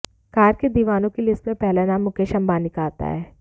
car के दीवानों की लिस्ट में पहला नाम मुकेश अंबानी का आता है